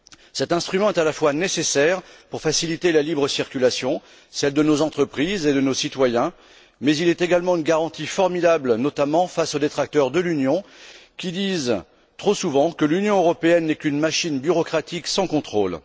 Cet instrument est à la fois nécessaire, pour faciliter la libre circulation, celle de nos entreprises et de nos citoyens, mais il est également une garantie formidable, notamment face aux détracteurs de l'Union, qui disent trop souvent qu'elle n'est qu'une machine bureaucratique sans contrôle.